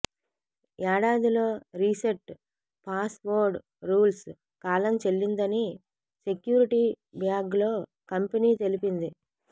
ఏడాదిలో reset password rules కాలం చెల్లిందని సెక్యూరిటీ బ్లాగ్ లో కంపెనీ తెలిపింది